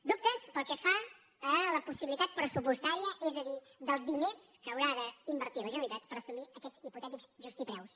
dubtes pel que fa a la pos·sibilitat pressupostària és a dir dels diners que haurà d’invertir la generalitat per assumir aquests hipotètics preus justos